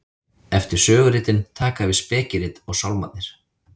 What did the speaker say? eftir söguritin taka við spekirit og sálmarnir